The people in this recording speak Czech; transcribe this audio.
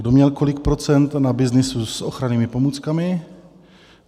Kdo měl kolik procent na byznysu s ochrannými pomůckami?